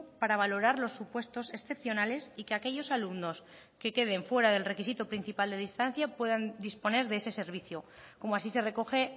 para valorar los supuestos excepcionales y que aquellos alumnos que queden fuera del requisito principal de distancia puedan disponer de ese servicio como así se recoge